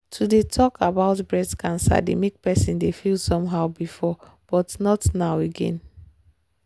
to dey talk about breast cancer dey make person feel some how before but not now again